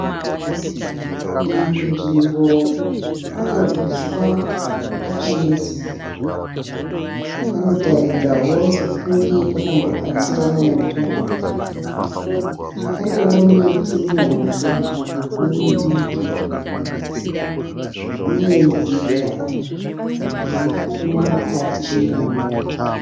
Iyi nzvimbo ine uswa hwakatsva nezuva. Panotaridzawo sokunge pakambobatira moto. Panewo miti mihombe nemidiki, uye nzira irimo mukati imomo.